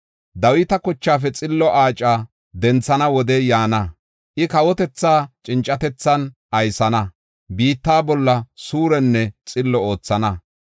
“Dawita kochaafe xillo aaca denthana wodey yaana. I kawotethaa cincatethan aysana; biitta bolla suurenne xillo oothana.